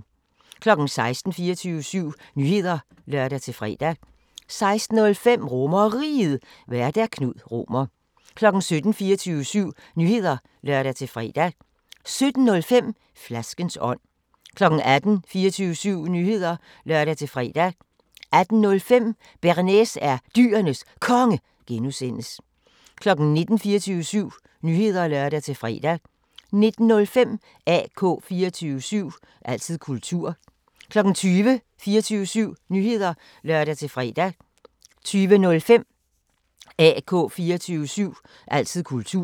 16:00: 24syv Nyheder (lør-fre) 16:05: RomerRiget, Vært: Knud Romer 17:00: 24syv Nyheder (lør-fre) 17:05: Flaskens ånd 18:00: 24syv Nyheder (lør-fre) 18:05: Bearnaise er Dyrenes Konge (G) 19:00: 24syv Nyheder (lør-fre) 19:05: AK 24syv – altid kultur 20:00: 24syv Nyheder (lør-fre) 20:05: AK 24syv – altid kultur